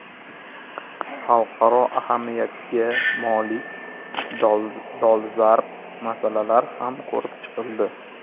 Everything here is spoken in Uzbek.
Xalqaro ahamiyatga molik dolzarb masalalar ham ko‘rib chiqildi.